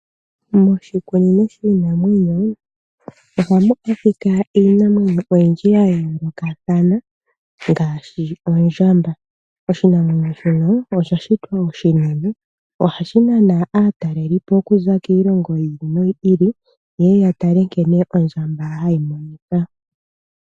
Moshikunino shiinamwenyo ohamu adhika iinamwenyo oyindji ya yoolokathana ngaashi ondjamba. Oshinamwenyo shono osha shitwa oshinene. Ohashi nana aatalelipo okuza kiilongo yi ili noyi ili ye ye ya tale nkene ondjamba hayi monika.